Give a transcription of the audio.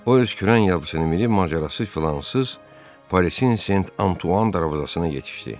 O, öz kürən yabıçını minib macərasız filansız Parisin Saint Antoine darvazasına yetişdi.